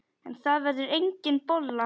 En það verður engin bolla.